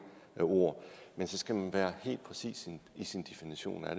ord men så skal man være helt præcis i sin definition af